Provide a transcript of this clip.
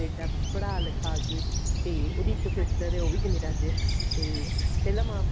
Canada ਪੜ੍ਹਾ ਲਿਖਾ ਕੇ ਤੇ ਉਹਦੀ ਇੱਕ sister ਨੇ ਉਹ ਵੀ ਕਨੇਡਾ ਚ ਤੇ ਪਹਿਲਾਂ ਮਾਂ